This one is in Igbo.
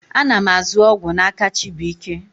A na m azụ ọgwụ n'aka Chibuike.